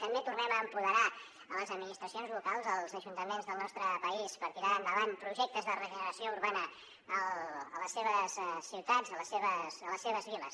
també tornem a empoderar les administracions locals els ajuntaments del nostre país per tirar endavant projectes de regeneració urbana a les seves ciutats a les seves viles